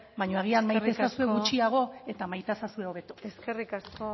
baina agian maite ezazue gutxiago eta maita ezazue hobeto eskerrik asko